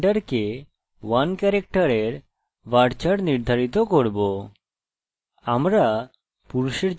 এখন আমি gender কে 1 ক্যারেক্টারের varchar নির্ধারিত করব